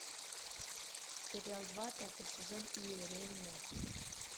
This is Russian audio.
сериал два пятый сезон иеремия